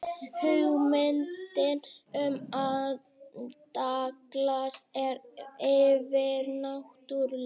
hugmyndin um andaglas er yfirnáttúrleg